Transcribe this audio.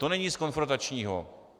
To není nic konfrontačního.